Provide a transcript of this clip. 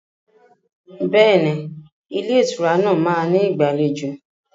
Bẹ́ẹ̀ni, Ilé ìtura náà máa ní ìgbàlejò.